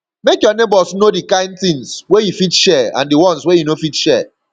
make your neighbors know di kind things wey you fit share and di one wey you no fit share